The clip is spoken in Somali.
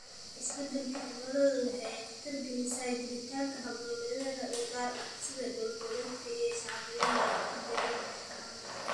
Isbeddelka cimiladu waxa ay khatar gelisaa jiritaanka hab-nololeedyo u gaar ah, sida dhul-badeedka shacbiyadda iyo degaannada dacallada.